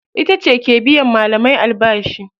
Itace ke biyan malamai albashi.